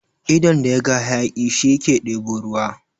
Idon da yaga hayaƙi, shi ke ɗebo ruwa.